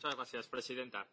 Señora presidenta,